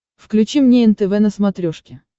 включи мне нтв на смотрешке